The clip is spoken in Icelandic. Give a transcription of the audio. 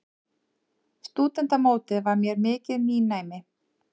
Stúdentamótið var mér mikið nýnæmi.